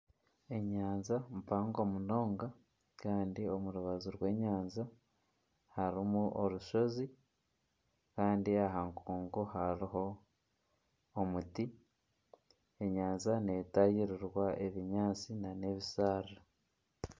Enyanja mpango munonga kandi omu rubaju rw'enyanja harimu orushozi. Kandi aha nkungu hariho omuti. Enyanja netaahirirwa ebinyaatsi nana ebisharara.